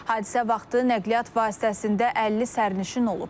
Hadisə vaxtı nəqliyyat vasitəsində 50 sərnişin olub.